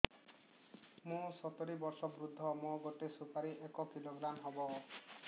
ମୁଁ ସତୂରୀ ବର୍ଷ ବୃଦ୍ଧ ମୋ ଗୋଟେ ସୁପାରି ଏକ କିଲୋଗ୍ରାମ ହେବ